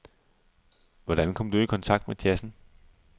Hvordan kom du i kontakt med jazzen?